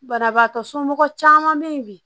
Banabaatɔ somɔgɔ caman be yen bi